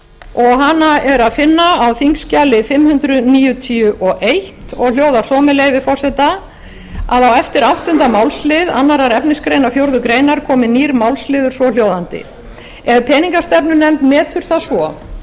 og hana er að finna á þingskjali fimm hundruð níutíu og eins og hljóðar svo með leyfi forseta á eftir áttunda málsl annars efnismgr fjórðu grein komi nýr málsliður svohljóðandi ef peningastefnunefnd metur það svo